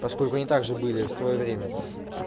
поскольку они также были в своё время